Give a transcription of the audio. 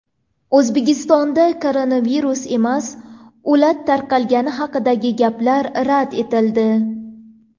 O‘zbekistonda koronavirus emas, o‘lat tarqalgani haqidagi gaplar rad etildi.